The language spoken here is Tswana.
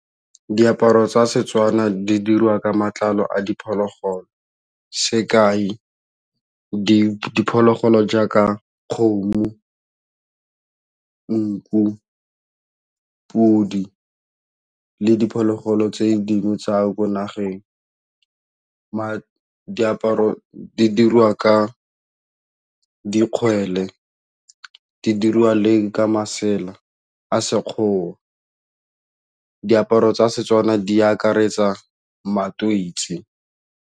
Diaparo tsa Setswana di diriwa ka matlalo a diphologolo sekai diphologolo jaaka kgomo, nku, pudi le diphologolo tse dingwe tsa ko nageng, diaparo di dirwa ka dikgwele di diriwa lenl ka masela a sekgowa diaparo tsa Setswana di akaretsa matweitsi.